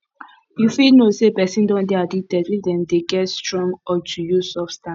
you fit know sey person don dey addicted if dem dey get strong urge to use substance